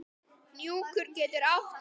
Hnjúkur getur átt við